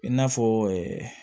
I n'a fɔ